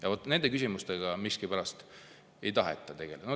Ometi nende küsimustega miskipärast ei taheta tegeleda.